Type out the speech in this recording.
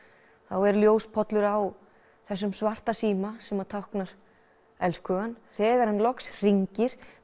er á þessum svarta síma sem táknar elskhugann þegar hann loksins hringir